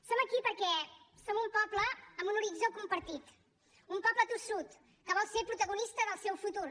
som aquí perquè som un poble amb un horitzó compartit un poble tossut que vol ser protagonista del seu futur